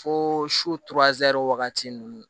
Fo su wagati ninnu